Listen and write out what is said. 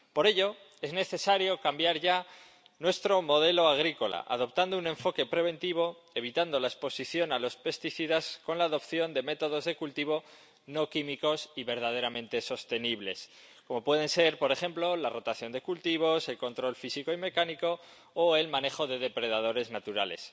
Por ello, es necesario cambiar ya nuestro modelo agrícola adoptando un enfoque preventivo, evitando la exposición a los pesticidas con la adopción de métodos de cultivo no químicos y verdaderamente sostenibles, como pueden ser, por ejemplo, la rotación de cultivos, el control físico y mecánico o el manejo de depredadores naturales.